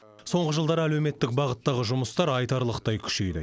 соңғы жылдары әлеуметтік бағыттағы жұмыстар айтарлықтай күшейді